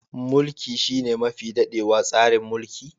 Mulki shine mafi dadewa tsarin mulki.